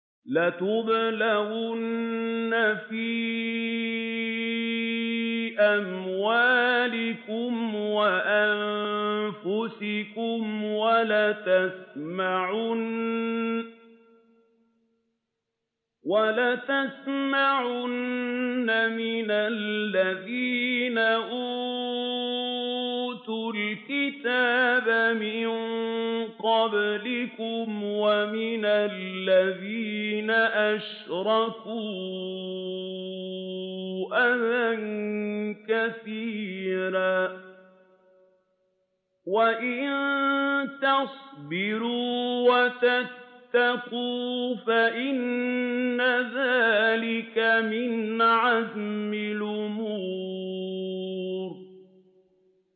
۞ لَتُبْلَوُنَّ فِي أَمْوَالِكُمْ وَأَنفُسِكُمْ وَلَتَسْمَعُنَّ مِنَ الَّذِينَ أُوتُوا الْكِتَابَ مِن قَبْلِكُمْ وَمِنَ الَّذِينَ أَشْرَكُوا أَذًى كَثِيرًا ۚ وَإِن تَصْبِرُوا وَتَتَّقُوا فَإِنَّ ذَٰلِكَ مِنْ عَزْمِ الْأُمُورِ